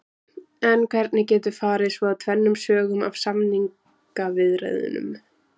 En hvernig getur farið svo tvennum sögum af samningaviðræðunum?